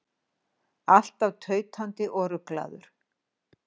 Alltaf tautandi og ruglaður.